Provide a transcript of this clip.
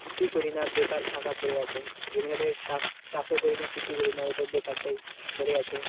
কিছুই করি না বেকার ফাঁকা পড়ে আছে জমিটাতে চাষ চাষ ও করি না কিছুই করি না ওটা বেকার সেই পড়ে আছে